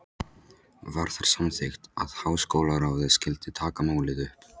Var þar samþykkt, að Háskólaráðið skyldi taka málið upp.